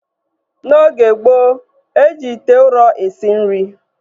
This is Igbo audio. N'oge gboo, e ji ite ụrọ esi nri